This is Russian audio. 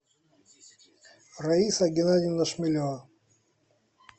раиса геннадьевна шмелева